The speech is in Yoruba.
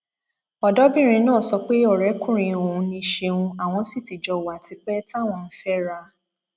ọdọbìnrin náà sọ pé ọrẹkùnrin òun ni ṣéun àwọn sì ti jọ wà tipẹ táwọn ń fẹra